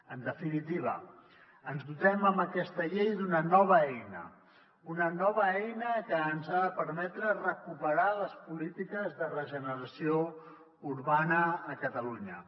en definitiva ens dotem amb aquesta llei d’una nova eina una nova eina que ens ha de permetre recuperar les polítiques de regeneració urbana a catalunya